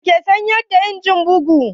Wa ke sayar da injin bugu?